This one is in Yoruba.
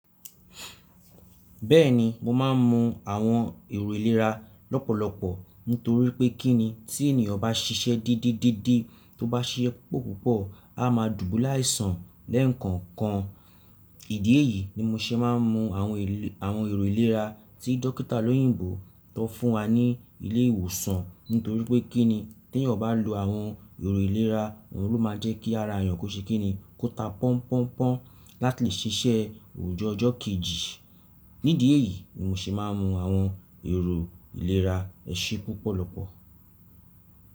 Bẹ́ẹ̀ni, mo máa ń mu àwọn èrò ìlera lọ́pọ̀lọpọ̀ nítorí pé kí ni tí ènìyàn bá ṣiṣẹ́ dede dede tó bá ṣiṣẹ́ púpọ̀ púpọ̀, a máa dùbúle àìsàn lẹ́ẹ̀kan kan. Ìdí èyí ni mo ṣe máa ń mu àwọn èl-- àwọn èrò ìlera tí dókítà lóyìnbó tó fún wa ní ilé ìwòsàn nítorí pé kí ni tí ènìyàn bá lo àwọn èrò ìlera, òun ló máa jẹ́ kí ara ènìyàn kó ṣe kí ni kó ta pọ́n pọ́n pọ́n láti lè ṣiṣẹ́ òjò ọjọ́ kejì. Nídìí èyí ni mo ṣe máa ń mu àwọn èrò ìlera èṣí púpọ̀lọpọ̀.